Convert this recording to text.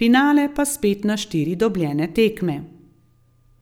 finale pa spet na štiri dobljene tekme.